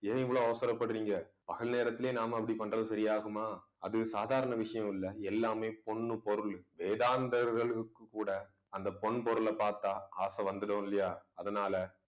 ஏன் இவ்வளவு அவசரப்படுறீங்க பகல் நேரத்திலேயே நாம அப்படி பண்றது சரியாகுமா அது சாதாரண விஷயம் இல்லை. எல்லாமே பொன்னு பொருள். வேதாந்தர்களுக்கு கூட அந்த பொன் பொருள பாத்தா ஆசை வந்துடும் இல்லையா அதனால